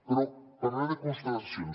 però parlaré de constatacions